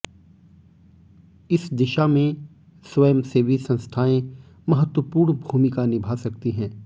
इस दिशा में स्वयंसेवी संस्थाएं महत्वपूर्ण भूमिका निभा सकती हैं